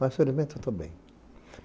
Mas, felizmente, eu estou bem.